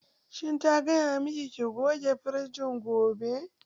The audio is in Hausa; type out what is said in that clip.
Shin ta gaya miki ki goge firijin gobe?